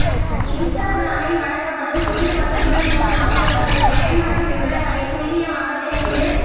இன்ஸ்டாகிராமில் வழங்கப்பட்டுள்ள புதிய வசதிகள் மூலம் உங்களது பயன்பாட்டு விவரங்களை துல்லியமாக தெரிந்து